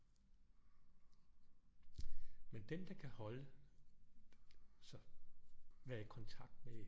Men den der kan holde sig være i kontakt med